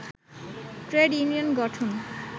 trade union গঠন